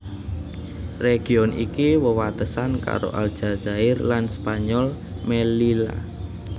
Region iki wewatesan karo Aljazair lan Spanyol Mellila